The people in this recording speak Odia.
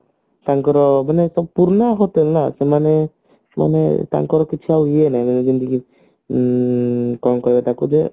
ତାଙ୍କର ମାନେ ପୁରୁଣା hotel ନା ସେମାନେ ସେମାନେ ତାଙ୍କର କିଛି ଆଉ ଇଏ ନାଇଁ ଯେମତିକି ଉଁ କଣ କୁହେ ତାକୁ ଯେ